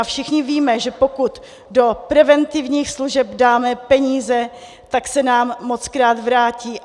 A všichni víme, že pokud do preventivních služeb dáme peníze, tak se nám mockrát vrátí;